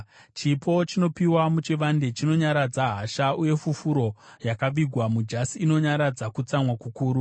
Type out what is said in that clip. Chipo chinopiwa muchivande chinonyaradza hasha, uye fufuro yakavigwa mujasi inonyaradza kutsamwa kukuru.